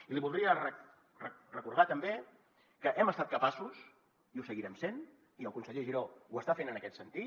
i li voldria recordar també que hem estat capaços i ho seguirem sent i el conseller giró ho està fent en aquest sentit